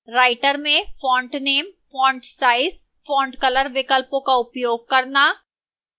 writer में font name font size font color विकल्पों का उपयोग करना